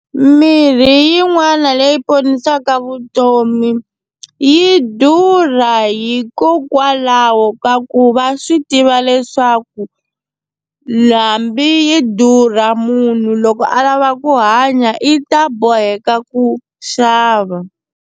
Mirhi yin'wana leyi ponisaka vutomi yi durha hikokwalaho ka ku va swi tiva leswaku hambi yi durha munhu loko a lava ku hanya i ta boheka ku xava.